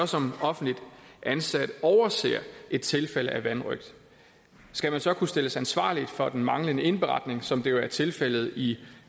som offentligt ansat overser et tilfælde af vanrøgt skal man så kunne stilles til ansvar for den manglende indberetning som det jo er tilfældet i